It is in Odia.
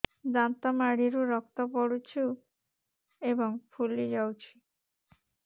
ଦାନ୍ତ ମାଢ଼ିରୁ ରକ୍ତ ପଡୁଛୁ ଏବଂ ଫୁଲି ଯାଇଛି